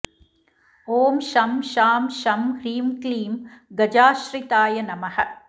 ॐ शं शां षं ह्रीं क्लीं गजाश्रिताय नमः